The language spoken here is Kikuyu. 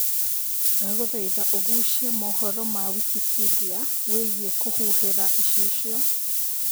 ndagũthaĩtha ũgucie mohoro ma Wikipedia wĩigie kũhuhira icicio